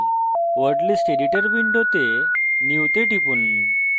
word list editor window new তে টিপুন